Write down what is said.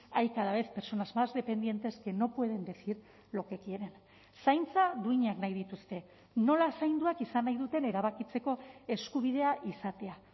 hay cada vez personas más dependientes que no pueden decir lo que quieren zaintza duinak nahi dituzte nola zainduak izan nahi duten erabakitzeko eskubidea izatea